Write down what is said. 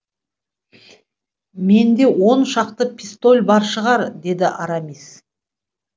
менде он шақты пистоль бар шығар деді арамис